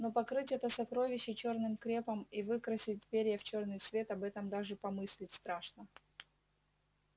но покрыть это сокровище чёрным крепом и выкрасить перья в чёрный цвет об этом даже помыслить страшно